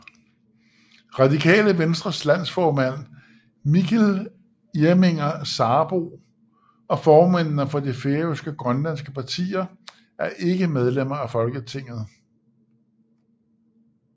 Radikale Venstres landsformand Mikkel Irminger Sarbo og formændene for de færøske og grønlandske partier er ikke medlemmer af Folketinget